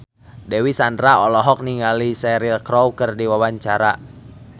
Dewi Sandra olohok ningali Cheryl Crow keur diwawancara